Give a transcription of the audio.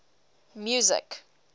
music